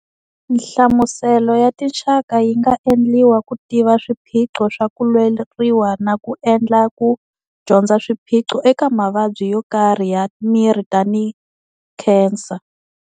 Nhlamuselo ya tinxaka yi nga endliwa ku tiva swiphiqo swa ku lweriwa na ku endla ku dyondza swiphiqo eka mavabyi yo karhi ya miri tanihi khensa.